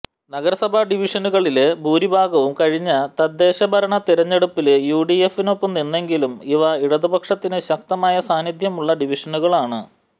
നഗരസഭാ ഡിവിഷനുകളില് ഭൂരിഭാഗവും കഴിഞ്ഞ തദ്ദേശഭരണ തിരഞ്ഞെടുപ്പല് യുഡിഎഫിനൊപ്പംനിന്നെങ്കിലും ഇവ ഇടതുപക്ഷത്തിന് ശക്തമായ സാന്നിധ്യമുള്ള ഡിവിഷനുകളാണ്